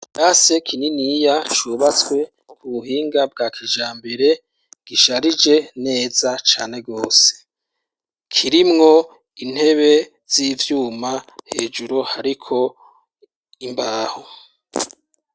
Kirase kininiya Cubatswe ku buhinga bwa kijambere, gisharije neza cane gose ,kirimwo intebe z'ivyuma hejuru hariko Imbaho.